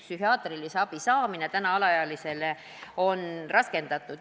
Psühhiaatrilise abi saamine on täna alaealistele raskendatud.